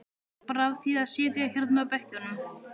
Bara af því að sitja hérna á bekkjunum.